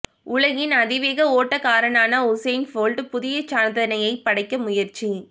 உலகின் அதிவேக ஓட்டக்காரரான உசைன் போல்ட் புதிய சாதனையை படைக்க முயற்சி